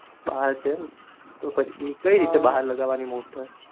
બાર છે એમ પછી કઈ રીતે બહાર લાગવાની motor